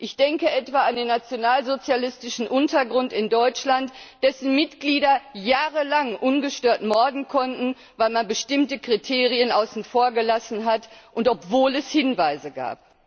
Ich denke etwa an den nationalsozialistischen Untergrund in Deutschland, dessen Mitglieder jahrelang ungestört morden konnten, weil man bestimmte Kriterien außen vor gelassen hat, obwohl es Hinweise gab.